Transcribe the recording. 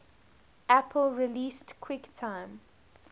apple released quicktime